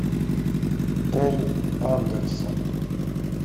пол андерсон